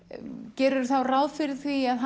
gerirðu þá ráð fyrir því að